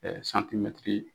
santimɛtiri